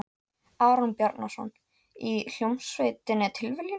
Aron Bjarnason, í hljómsveitinni Tilviljun?